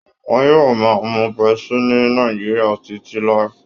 Wọn yóò máa mu pepsi ni Nàìjíríà títí láí